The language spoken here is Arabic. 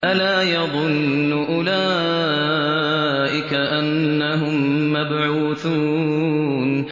أَلَا يَظُنُّ أُولَٰئِكَ أَنَّهُم مَّبْعُوثُونَ